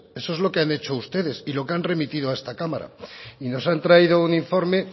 eso es lo que han hecho ustedes y lo que han remitido a esta cámara y nos han traído un informe